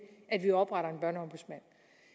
at vi opretter